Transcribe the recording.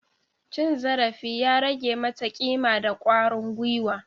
Cin zarafi ya rage mata kima da kwarin gwiwa.